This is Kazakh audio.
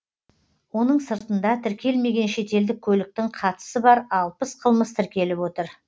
оның сыртында тіркелмеген шетелдік көліктің қатысы бар алпыс қылмыс тіркеліп отыр